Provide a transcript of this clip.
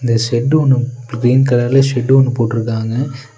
இந்த ஷெட்டு ஒன்னு கிரீன் கலர்ல ஷெட் ஒன்னு போட்ருக்காங்க.